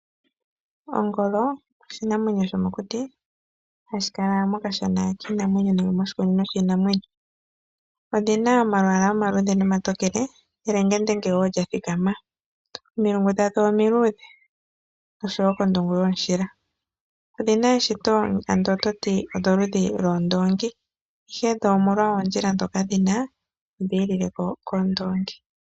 Ongolo oshinamwenyo sho mokuti hashi kala mokashana kiinamwenyo nenge moshikunino shiinamwenyo, odhina omalwaala omaluudhe nomantokele nelenge ndenge woo lya thikama. Omilungu dhowo omiluudhe osho woo kondungu yomushila. Odhina eshito ando ototi odho ludhi lwoondoongi ihe dho omolwa oondjila dhoka dhina odhiikileko koondongi.